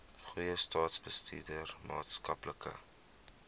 goeie staatsbestuur maatskaplike